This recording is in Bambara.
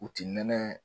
U ti nɛnɛ